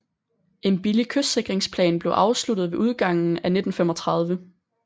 En billig kystsikringsplan blev afsluttet ved udgangen af 1935